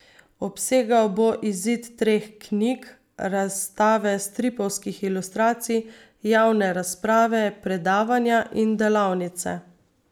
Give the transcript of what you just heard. Obsegal bo izid treh knjig, razstave stripovskih ilustracij, javne razprave, predavanja in delavnice.